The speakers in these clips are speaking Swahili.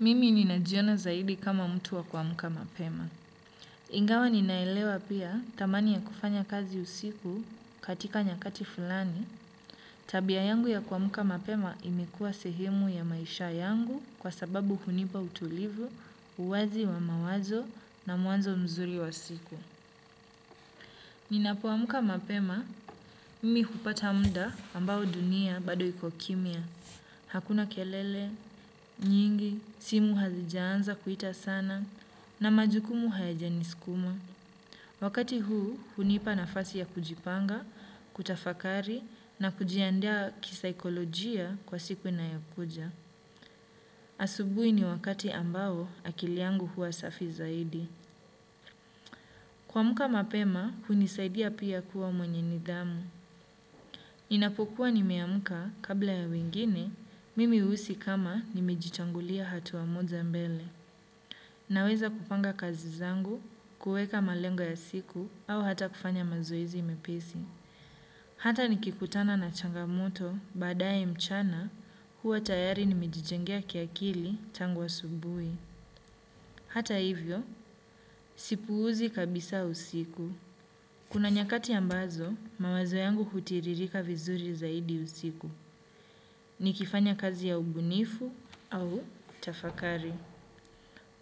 Mimi ninajiona zaidi kama mtu wa kuamka mapema. Ingawa ninaelewa pia thamani ya kufanya kazi usiku katika nyakati fulani. Tabia yangu ya kuamka mapema imekuwa sehemu ya maisha yangu kwa sababu hunipa utulivu, uwazi wa mawazo na mwanzo mzuri wa siku. Ninapo amka mapema. Mimi hupata muda ambao dunia bado iko kimya. Hakuna kelele, nyingi, simu hazijaanza kuita sana na majukumu hayajaniskuma. Wakati huu, hunipa nafasi ya kujipanga, kutafakari na kujiandaa kisaikolojia kwa siku inayokuja. Asubuhi ni wakati ambao akili yangu huwa safi zaidi. Kuamuka mapema, hunisaidia pia kuwa mwenye nidhamu. Ninapokuwa nimeamka kabla ya wengine, mimi huhisi kama nimejitangulia hatua moja mbele. Naweza kupanga kazi zangu, kuweka malengo ya siku au hata kufanya mazoezi imepesi. Hata nikikutana na changamoto badaye mchana huwa tayari nimijijengea kiakili tangu asubuhi. Hata hivyo, sipuuzi kabisa usiku. Kuna nyakati ambazo, mawazo yangu hutiririka vizuri zaidi usiku. Nikifanya kazi ya ubunifu au tafakari.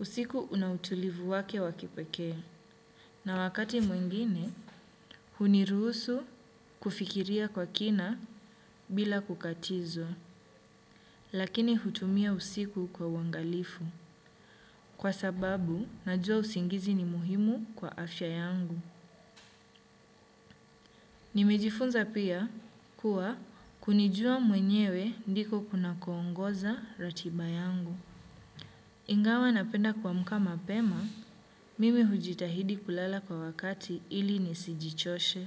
Usiku una utulivu wake wa kipekee. Na wakati mwingine, huniruhusu kufikiria kwa kina bila kukatizwa. Lakini hutumia usiku kwa wangalifu. Kwa sababu, najua usingizi ni muhimu kwa afya yangu. Nimejifunza pia kuwa kunijua mwenyewe ndiko kuna kuongoza ratiba yangu. Ingawa napenda kuamka mapema, mimi hujitahidi kulala kwa wakati ili nisijichoshe.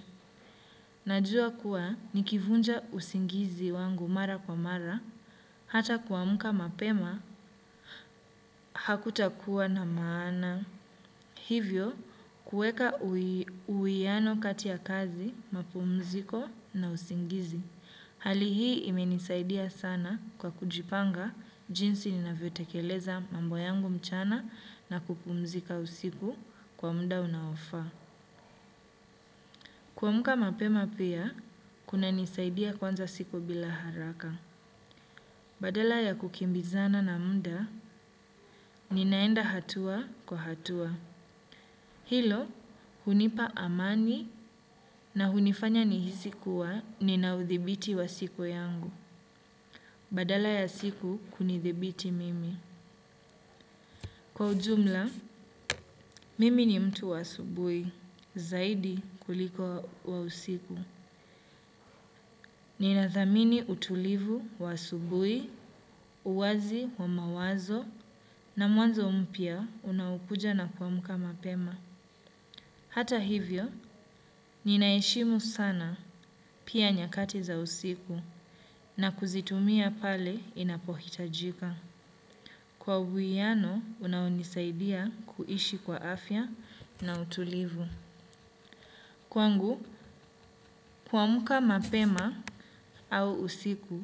Najua kuwa nikivunja usingizi wangu mara kwa mara, hata kuamka mapema, hakuta kuwa na maana. Hivyo, kuweka uwiano kati ya kazi, mapumziko na usingizi. Hali hii imenisaidia sana kwa kujipanga jinsi ninavyotekeleza mambo yangu mchana na kupumzika usiku kwa muda unaofaa. Kuamka mapema pia, kuna nisaidia kuanza siku bila haraka. Badala ya kukimbizana na munda, ninaenda hatua kwa hatua. Hilo, hunipa amani na hunifanya nihisi kuwa nina uthibiti wa siku yangu. Badala ya siku kunithibiti mimi. Kwa ujumla, mimi ni mtu wa asubuhi, zaidi kuliko wa usiku. Ninathamini utulivu wa asubuhi, uwazi wa mawazo, na mwanzo mpya unaokuja na kuamka mapema. Hata hivyo, ninaheshimu sana pia nyakati za usiku, na kuzitumia pale inapohitajika. Kwa uwiano, unaonisaidia kuishi kwa afya na utulivu. Kwangu, kuamka mapema au usiku,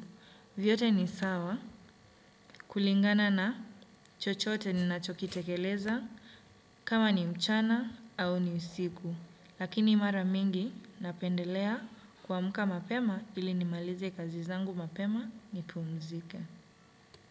vyote ni sawa kulingana na chochote ni ninachokitekeleza kama ni mchana au ni usiku. Lakini mara mingi, napendelea kuamka mapema ili nimalize kazi zangu mapema nipumzike.